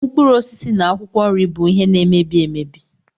Mkpụrụ osisi na akwụkwọ nri bụ ihe na-emebi emebi.